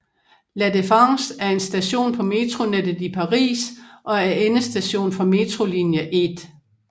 La Défense er en station på metronettet i Paris og er endestation for metrolinje 1